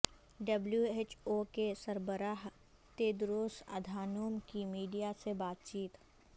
W H O کے سربراہ Tedros Adhanom کی میڈیا سے بات چیت